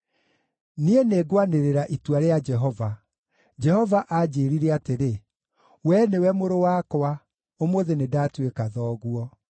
Niĩ nĩngwanĩrĩra itua rĩa Jehova: Jehova aanjĩĩrire atĩrĩ, “Wee nĩwe Mũrũ wakwa, ũmũthĩ nĩndatuĩka thoguo.